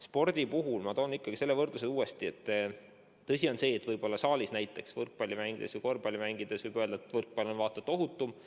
Spordi puhul ma toon selle võrdluse uuesti, et tõsi ta on, kui võrrelda saalis võrkpalli ja korvpalli mängimist, siis võrkpall on vaata et ohutum.